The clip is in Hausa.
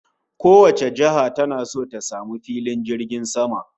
Kowace jiha tana so ta samu filin jirgin sama